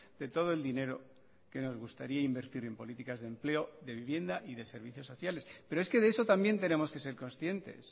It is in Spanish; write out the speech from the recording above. de todo el dinero que nos gustaría invertir en políticas de empleo de vivienda y de servicios sociales pero es que de eso también tenemos que ser conscientes